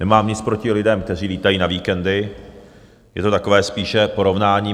Nemám nic proti lidem, kteří létají na víkendy, je to takové spíše porovnání.